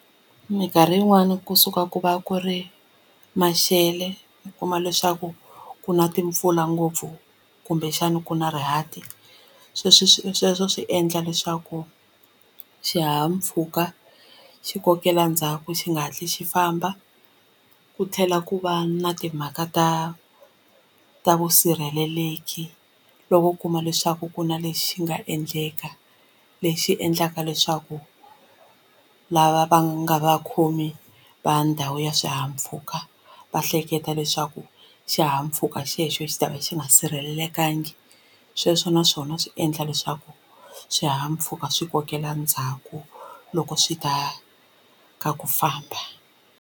Minkarhi yin'wani kusuka ku va ku ri maxelo u kuma leswaku ku na timpfula ngopfu kumbexana ku na rihati sweswi sweswo swi endla leswaku xihahampfhuka xi kokela ndzhaku xi nga hatli xi famba ku tlhela ku va na timhaka ta ta vusirheleleki loko u kuma leswaku ku na lexi nga endleka lexi endlaka leswaku lava va nga vakhomi va ndhawu ya swihahampfhuka va hleketa leswaku xihahampfhuka xexo xi ta va xi nga sirhelelekangiki sweswo naswona swi endla leswaku swihahampfhuka swi kokela ndzhaku loko swi ta ka ku famba.